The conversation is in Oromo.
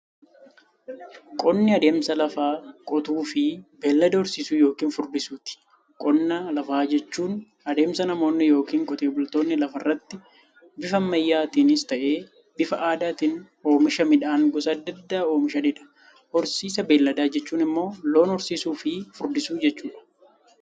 Qonni adeemsa lafa qotuufi beeylada horsiisuu yookiin furdisuuti. Qonna lafaa jechuun adeemsa namoonni yookiin Qotee bultoonni lafarraatti bifa ammayyanis ta'ee, bifa aadaatiin oomisha midhaan gosa adda addaa oomishaniidha. Horsiisa beeyladaa jechuun immoo loon horsiisuufi furdisuudha.